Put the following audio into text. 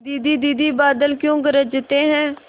दीदी दीदी बादल क्यों गरजते हैं